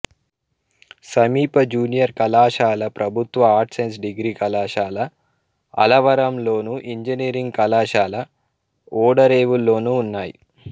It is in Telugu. సమీప జూనియర్ కళాశాల ప్రభుత్వ ఆర్ట్స్ సైన్స్ డిగ్రీ కళాశాల అల్లవరంలోను ఇంజనీరింగ్ కళాశాల ఓడలరేవులోనూ ఉన్నాయి